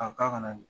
A ka na ni